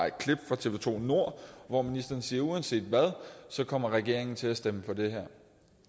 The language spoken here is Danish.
et klip fra tv to nord hvor ministeren siger at uanset hvad kommer regeringen til at stemme for det her